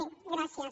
bé gràcies